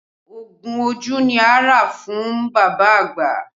Ogun ojú ni a rà fún bàbá àgbà